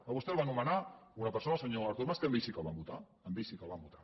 a vostè el va nomenar una persona el senyor artur mas que a ell sí que el van votar a ell sí que el van votar